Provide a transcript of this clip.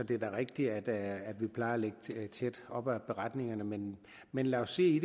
det er da rigtigt at vi plejer at ligge tæt op ad beretningerne men men lad os se